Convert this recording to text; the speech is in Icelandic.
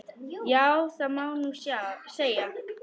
Já, það má nú segja.